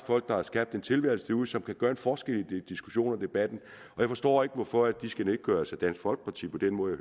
folk der har skabt en tilværelse derude og som kan gøre en forskel i debatten og jeg forstår ikke hvorfor de skal nedgøres af dansk folkeparti på den måde